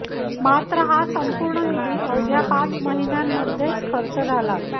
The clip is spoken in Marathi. मात्र हा संपुर्ण निधी अवघ्या पाच महिन्यांमध्येच खर्च झाला